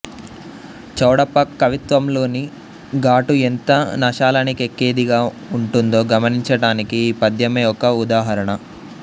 చౌడప్ప కవిత్వంలోని ఘాటు యెంత నషాలానికెక్కేదిగా వుంటుందో గమనించటానికి ఈ పద్యమే ఒక వుదాహరణ